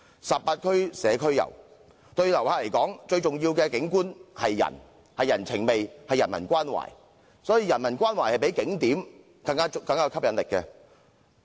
十八區社區遊，對旅客而言，最重要的景觀是人，是人情味，是人文關懷，人文關懷比景點更有吸引力。